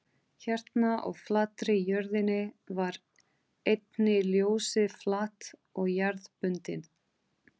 Hérna á flatri jörðinni var einnig ljósið flatt og jarðbundið.